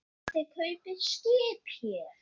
En þið kaupið skip hér.